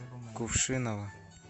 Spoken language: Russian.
кувшиново